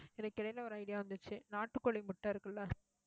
எனக்கு இடையில, ஒரு idea வந்துச்சு. நாட்டுக்கோழி முட்டை இருக்குல்ல